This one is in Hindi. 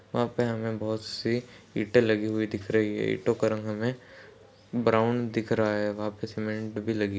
यहाँ पे हमें बहोत सी ईटे लगी हुई दिख रही हैं । ईटो का रंग हमें ब्राउन दिख रहा है वहाँ पे सीमेंट भी लगी --